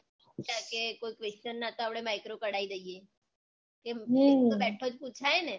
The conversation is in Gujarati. કોઈ question માં તો આપડે micro કઢાઈ દઈએ એ તો બેઠો જ પુછાય ને